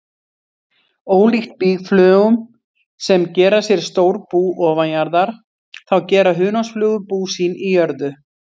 Ólíkt býflugum sem gera sér stór bú ofanjarðar, þá gera hunangsflugur bú sín í jörðu.